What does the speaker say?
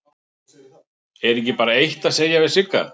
Er ekki bara eitt að segja við Sigga?